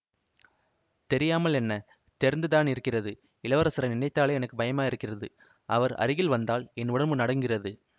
தெரியாமல் என்ன தெரிந்துதானிருக்கிறது இளவரசரை நினைத்தாலே எனக்கு பயமாயிருக்கிறது அவர் அருகில் வந்தால் என் உடம்பு நடுங்குகிறது